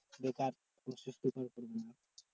বেকার কষ্ট